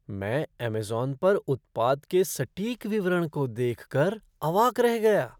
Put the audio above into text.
मैं अमेज़न पर उत्पाद के सटीक विवरण को देख कर अवाक रह गया।